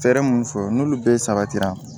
Fɛɛrɛ minnu fɔ n'olu bɛɛ sabatira